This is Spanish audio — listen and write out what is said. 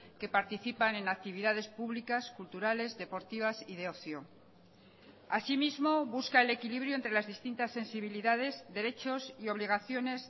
que participan en actividades públicas culturales deportivas y de ocio asimismo busca el equilibrio entre las distintas sensibilidades derechos y obligaciones